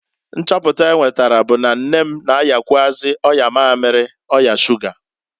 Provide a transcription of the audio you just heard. Nchọpu enwetara bu na nne m na-ayakwụazị ọya mamiri (ọya shuga).